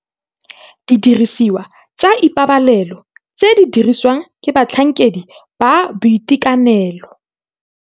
Didirisiwa tsa ipabalelo tse di dirisiwang ke batlhankedi ba boitekanelo.